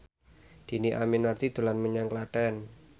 Dhini Aminarti dolan menyang Klaten